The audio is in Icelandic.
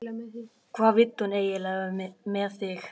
Hvað vill hún eiginlega með þig?